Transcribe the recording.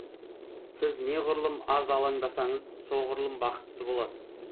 сіз неғұрлым аз алаңдасаңыз соғұрлым бақытты боласыз